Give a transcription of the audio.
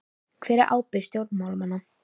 Hver er ábyrgð stjórnmálamanna?